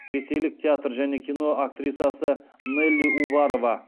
ресейлік театр және кино актрисасы нелли уварова